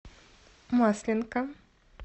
масленка